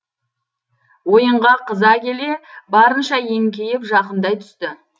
ойынға қыза келе барынша еңкейіп жақындай түсті